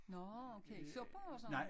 Nårh okay supper og sådan noget?